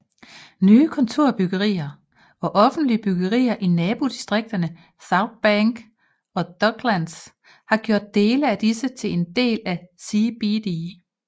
Nye kontorbyggerier og offentlige byggerier i nabodistrikterne Southbank og Docklands har gjort dele af disse til en del af CBD